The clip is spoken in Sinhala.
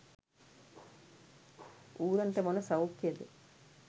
ඌරන්ට මොන සෞඛ්‍යයද?